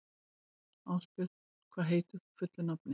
Árbjörn, hvað heitir þú fullu nafni?